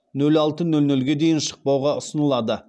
нөл алты нөл нөлге дейін шықпауға ұсынылады